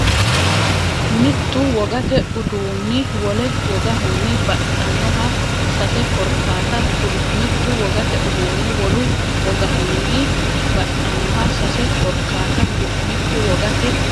Mittu wogate uduunni wole wogahunni baxxannoha sase korkaata kuli Mittu wogate uduunni wole wogahunni baxxannoha sase korkaata kuli Mittu wogate.